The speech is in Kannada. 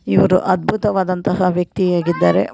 ಇವರು ಅದ್ಭುತವಾದಂತಹ ವ್ಯಕ್ತಿ ಆಗಿದ್ದಾರೆ ಮ--